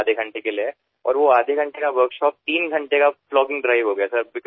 अर्धा तासासाठीच्या त्या कार्यशाळेचे रूपांतर तीन तासांच्या प्लॉगिंग मोहिमेमध्ये झाले